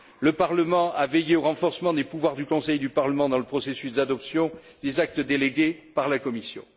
Le Parlement a veillé au renforcement des pouvoirs du Conseil et du Parlement dans le processus d'adoption des actes délégués par la Commission.